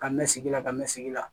Ka mɛ sigi la ka mɛn sigi la